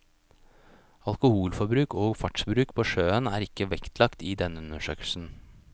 Alkoholforbruk og fartsbruk på sjøen er ikke vektlagt i denne undersøkelsen.